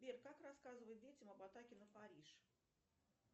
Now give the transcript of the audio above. сбер как рассказывать детям об атаке на париж